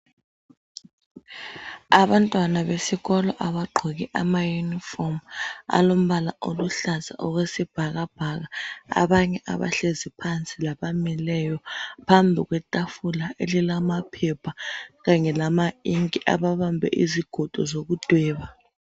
Abantwana beskolo abagqoke amayunifomu alombala oluhlaza okwesibhakabhaka. Abanye abahlezi phansi labamileyo, phambi kwethafula lilamaphepha kanye lamainki, babambe izigodo zekudweba.